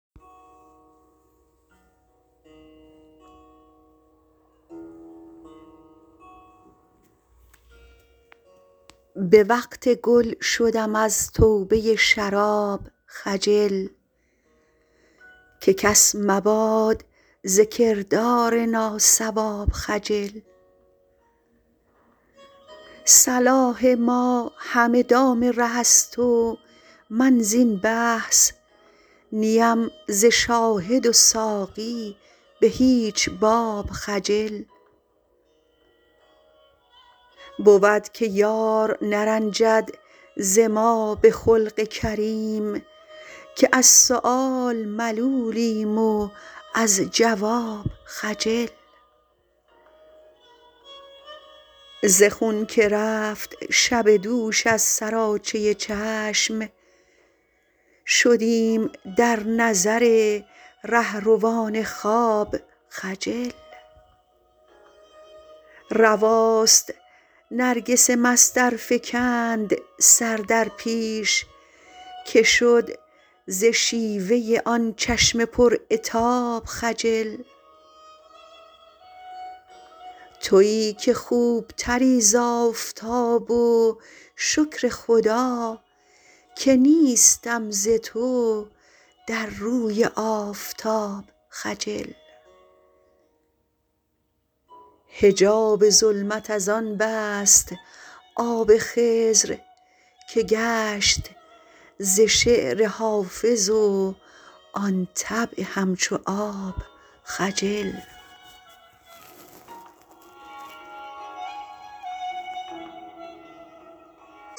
به وقت گل شدم از توبه شراب خجل که کس مباد ز کردار ناصواب خجل صلاح ما همه دام ره است و من زین بحث نی ام ز شاهد و ساقی به هیچ باب خجل بود که یار نرنجد ز ما به خلق کریم که از سؤال ملولیم و از جواب خجل ز خون که رفت شب دوش از سراچه چشم شدیم در نظر رهروان خواب خجل رواست نرگس مست ار فکند سر در پیش که شد ز شیوه آن چشم پر عتاب خجل تویی که خوب تری ز آفتاب و شکر خدا که نیستم ز تو در روی آفتاب خجل حجاب ظلمت از آن بست آب خضر که گشت ز شعر حافظ و آن طبع همچو آب خجل